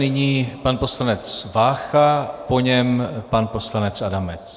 Nyní pan poslanec Vácha, po něm pan poslanec Adamec.